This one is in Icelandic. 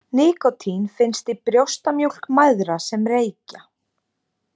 Nikótín finnst í brjóstamjólk mæðra sem reykja.